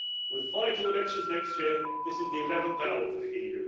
With vital elections next year, this is the eleventh hour for the EU.